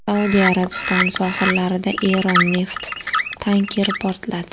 Saudiya Arabistoni sohillarida Eron neft tankeri portladi.